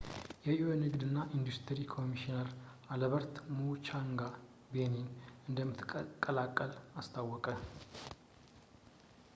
የ ኤዩ ንግድ እና ኢንዱስትሪ ኮሚሽነር አልበርት ሙቻንጋ ቤኒን እንደምትቀላቀል አስታወቀ